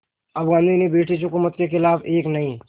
अब गांधी ने ब्रिटिश हुकूमत के ख़िलाफ़ एक नये